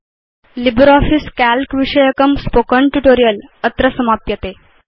LibreOffice Calc विषयकं spoken tutorial अत्र समाप्यते